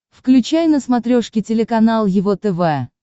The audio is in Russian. включай на смотрешке телеканал его тв